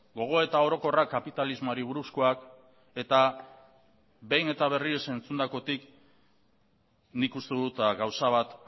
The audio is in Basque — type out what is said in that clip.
gogoeta orokorrak kapitalismoari buruzkoak eta behin eta berriro entzundakotik nik uste dut gauza bat